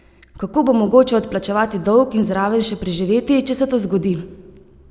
Kako bo mogoče odplačevati dolg in zraven še preživeti, če se to zgodi?